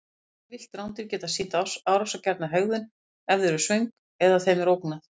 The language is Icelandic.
Öll villt rándýr geta sýnt árásargjarna hegðun ef þau eru svöng eða þeim er ógnað.